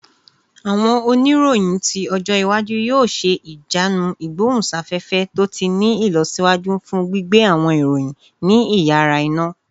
Awọn oniroyin ti ọjọ iwaju yoo ṣe ijanu igbohunsafefe to ti ni ilọsiwaju fun gbigbe awọn iroyin ni iyara-ina